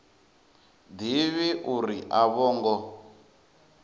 ḓivhi uri a vho ngo